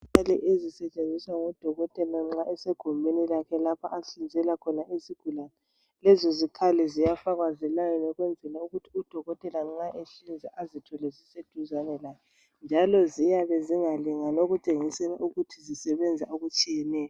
yizikhali ezisetshenziswa ngodokotela nxa esegumbeni lapha ahlinzela khona izigulane lezozikhali ziyafakwa ngelayini ukwenzela ukuthi udokotela nxa ehlinza azithole ziseduzane laye njalo ziyabe zingalingani okutshengisela ukuthi zisebenza okutshiyeneyo.